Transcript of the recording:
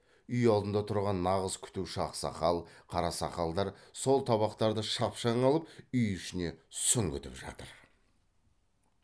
үй алдында тұрған нағыз күтуші ақсақал қарасақалдар сол табақтарды шапшаң алып үй ішіне сүңгітіп жатыр